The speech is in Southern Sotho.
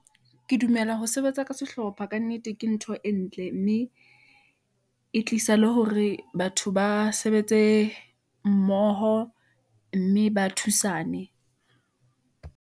Ke dumela ho sebetsa ka sehlopha kannete ke ntho e ntle, mme e tlisa le hore batho ba sebetse mmoho , mme ba thusane.